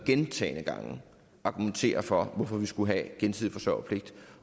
gentagne gange argumentere for hvorfor vi skulle have gensidig forsørgerpligt